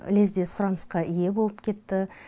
лезде сұранысқа ие болып кетті